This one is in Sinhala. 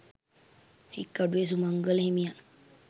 හික්කඩුවේ සුමංගල හිමියන්